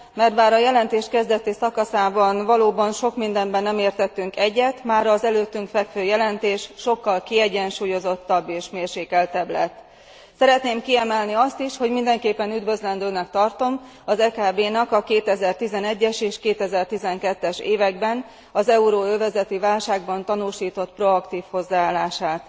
Mert bár a jelentés kezdeti szakaszában valóban sok mindenben nem értettünk egyet, az előttünk fekvő jelentés már sokkal kiegyensúlyozottabb és mérsékeltebb lett. Szeretném kiemelni azt is, hogy mindenképpen üdvözlendőnek tartom az EKB nak a 2011 es és 2012 es években az euróövezeti válságban tanúsított proaktív hozzáállását.